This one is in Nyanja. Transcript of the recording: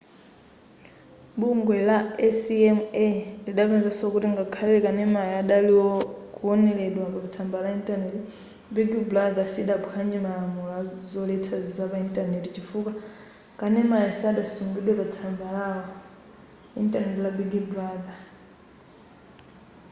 bungwe la acma lidapezanso kuti ngakhale kanemayo adali kuwoneredwa pamatsamba a intaneti big brother sidaphwanye malamulo azoletsa zapa intaneti chifukwa kanemayo sadasungidwe patsamba lawo intaneti la big brother